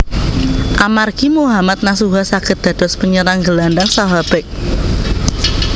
Amargi Mohammad Nasuha saged dados penyerang gelandang saha bek